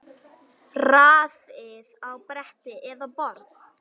Raðið á bretti eða borð.